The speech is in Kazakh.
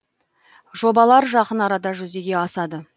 жобалар жақын арада жүзеге асады